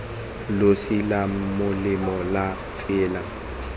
losi la molema la tsela